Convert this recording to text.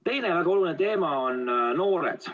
Teine väga oluline teema on noored.